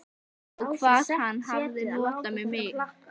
Og hvað hann hafði notað mig.